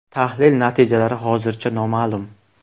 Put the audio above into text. Tahlil natijalari hozircha noma’lum.